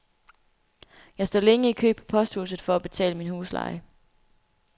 Jeg står længe i kø på posthuset for at betale min husleje.